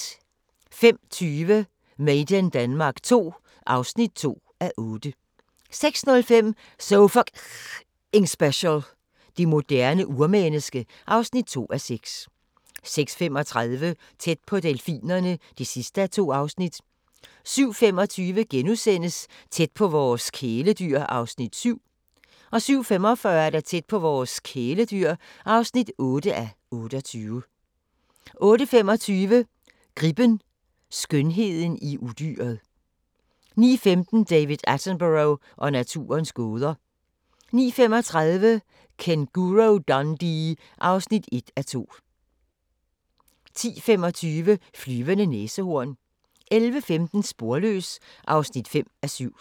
05:20: Made in Denmark II (2:8) 06:05: So F***ing Special – Det moderne urmenneske (2:6) 06:35: Tæt på delfinerne (2:2) 07:25: Tæt på vores kæledyr (7:28)* 07:45: Tæt på vores kæledyr (8:28) 08:25: Gribben: Skønheden i udyret 09:15: David Attenborough og naturens gåder 09:35: Kænguru-Dundee (1:2) 10:25: Flyvende næsehorn 11:15: Sporløs (5:7)